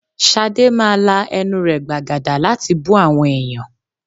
Shade máa la ẹnu rẹ̀ gbàgàdà láti bú àwọn èèyàn.